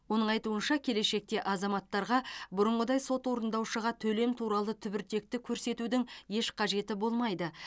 оның айтуынша келешекте азаматтарға бұрынғыдай сот орындаушыға төлем туралы түбіртекті көрсетудің еш қажеті болмайды